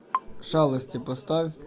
шалости поставь